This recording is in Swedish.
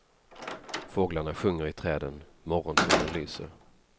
Fåglarna sjunger i träden, morgonsolen lyser.